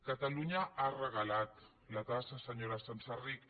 catalunya ha regalat la tassa senyora senserrich